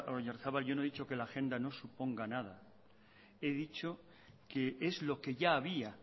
oyarzabal yo no he dicho que la agenda no suponga nada he dicho que es lo que ya había